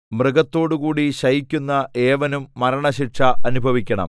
മൃഗത്തോടുകൂടി ശയിക്കുന്ന ഏവനും മരണശിക്ഷ അനുഭവിക്കണം